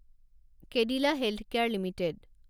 Cadila healthcare limited